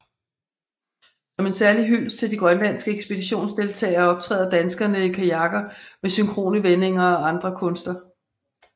Som en særlig hyldest til de grønlandske ekspeditionsdeltagere optræder danskerne i kajakker med synkrone vendinger og andre kunstner